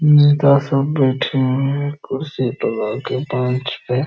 नेता सब बैठे हुए हैं कुर्सी लगा के मंच पे।